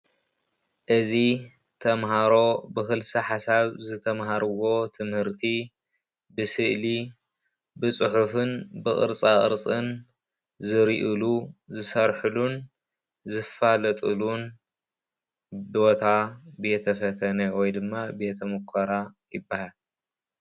እዚ ተምሃሮ ብክልሲ ሓሳብ ዝተምሃርዎ ትምርቲ ብስእሊ፣ ብፅሑፍን ብቅርፃ ቅርፅን ዝሪእሉ ዝሰርሕሉን ዝፋለጥሉን ቦታ ቤተ-ፈተነ ወይ ድማ ቤተ ምኮራ ይበሃል ።